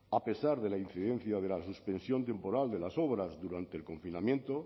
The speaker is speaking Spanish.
a pesar de la incidencia de la suspensión temporal de las obras durante el confinamiento